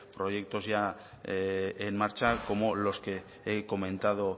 proyectos en marcha como los que ya he comentado